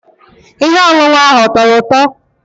Ihe ọṅụṅụ ahụ ọ tọrọ ụtọ?